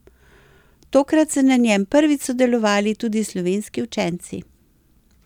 Tokrat so na njem prvič sodelovali tudi slovenski učenci.